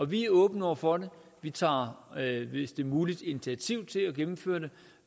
vi er åbne over for det vi tager hvis det er muligt initiativ til at gennemføre det